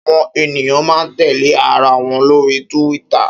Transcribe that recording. Áwòn éniyàn má n tèlé àráwòn lóri Túwìtá